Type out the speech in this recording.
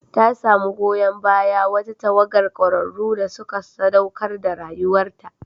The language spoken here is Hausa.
Ta samu goyon bayan wata tawagar kwararru da suka saɗaukar da rayuwarta.